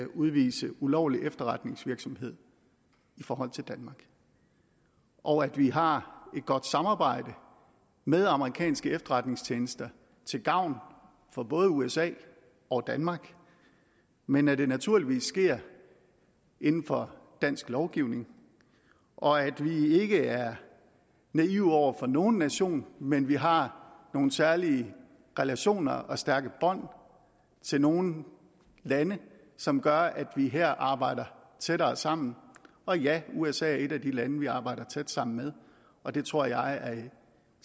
udvise ulovlig efterretningsvirksomhed i forhold til danmark og at vi har et godt samarbejde med amerikanske efterretningstjenester til gavn for både usa og danmark men at det naturligvis sker inden for dansk lovgivning og at vi ikke er naive over for nogen nation men at vi har nogle særlige relationer og stærke bånd til nogle lande som gør at vi her arbejder tættere sammen og ja usa er et af de lande vi arbejder tæt sammen med og det tror jeg er